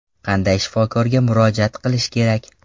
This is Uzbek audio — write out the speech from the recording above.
Qanday shifokorga murojaat qilish kerak?